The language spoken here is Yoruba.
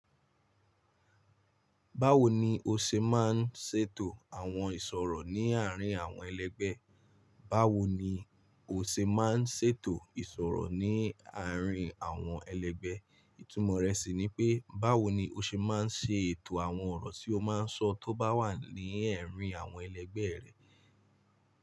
Báwo ni o ṣe máa ń ṣètò àwọn ìṣòro ní àárín àwọn ẹlẹgbẹ́? Báwo ni o ṣe máa ń ṣètò ìṣòro ní àárín àwọn ẹlẹgbẹ́? Ìtumọ̀ rẹ̀ sì ni pé báwo ni o ṣe máa ń ṣe ètò àwọn ọ̀rọ̀ tí o máa ń sọ tó bá wà ní ẹ̀rín àwọn ẹlẹgbẹ́ rẹ.